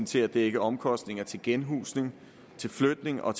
til at dække omkostninger til genhusning til flytning og